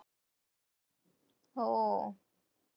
हो.